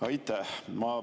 Aitäh!